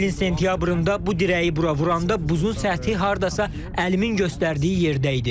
Ötən ilin sentyabrında bu dirəyi bura vuranda buzun səthi hardasa əlimin göstərdiyi yerdə idi.